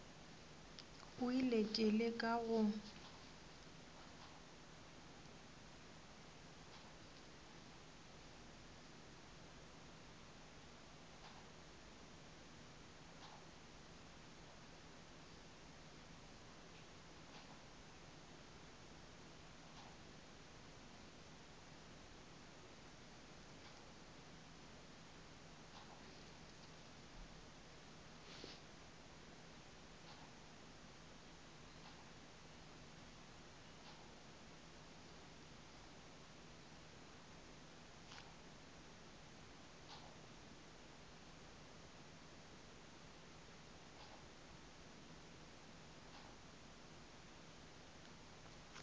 o ile ke leka go